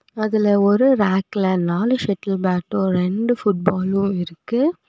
அதுல ஒரு ரேக்ள நாலு ஷெட்டில் பேட்டு ரெண்டு ஃபுட் பாலு இருக்கு.